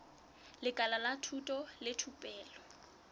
lekala la thuto le thupelo